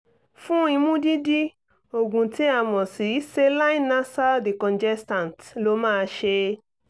fún imú dídí oògùn tí a mọ̀ sí saline nasal decongestants ló máa ṣe é